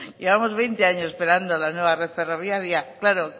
llevamos veinte años esperando la nueva red ferroviaria claro